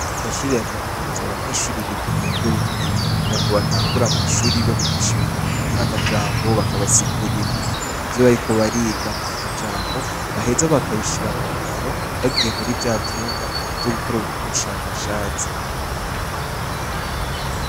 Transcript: Mumashure ya kaminuza abanyeshure biga muburyo bubiri, haraho batangura mw'ishuri babigisha ibintu bijanye n'amajambo, bakabasigurira ivyo bariko bariga mumajambo, baheza bakabishira mungiro, bagiye muri vya vyumba vyo gukoreramwo ubushakashatsi.